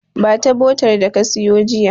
Ba ta botar da ka siyo jiya.